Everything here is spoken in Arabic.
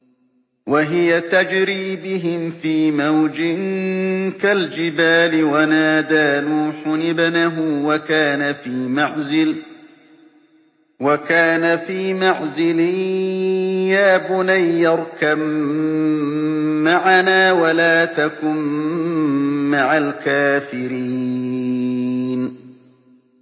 وَهِيَ تَجْرِي بِهِمْ فِي مَوْجٍ كَالْجِبَالِ وَنَادَىٰ نُوحٌ ابْنَهُ وَكَانَ فِي مَعْزِلٍ يَا بُنَيَّ ارْكَب مَّعَنَا وَلَا تَكُن مَّعَ الْكَافِرِينَ